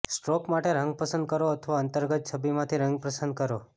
stroke માટે રંગ પસંદ કરો અથવા અંતર્ગત છબીમાંથી રંગ પસંદ કરો